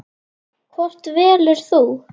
Hvort velur þú?